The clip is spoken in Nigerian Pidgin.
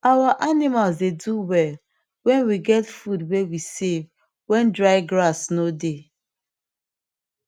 our animals dey do well when we get food way we save when dry grass no dey